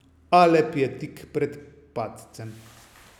Alep je tik pred padcem.